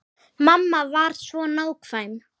Mamma var svo nákvæm.